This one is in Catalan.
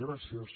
gràcies